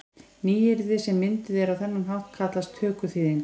Nýyrði sem mynduð eru á þennan hátt kallast tökuþýðingar.